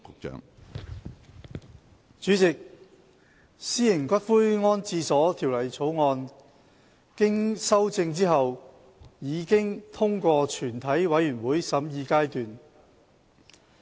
主席，《私營骨灰安置所條例草案》經修正後已通過全體委員會審議階段。